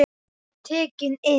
Ég var tekinn inn.